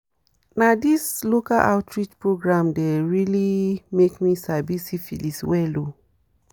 na this local outreach program dem really make me sabi syphilis well o